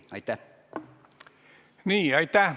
Nii, aitäh!